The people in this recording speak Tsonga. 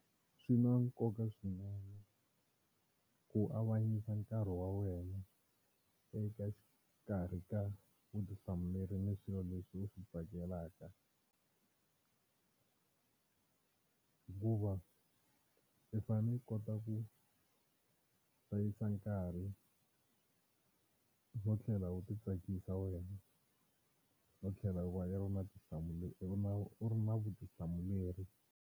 Swi na nkoka swinene ku avanyisa nkarhi wa wena eka xikarhi ka vutihlamuleri ni swilo leswi u swi tsakelaka, hikuva i fanele u kota ku hlayisa nkarhi no tlhela u titsakisa wena no tlhela u va u ri na u ri na vutihlamuleri.